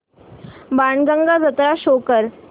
बाणगंगा जत्रा शो कर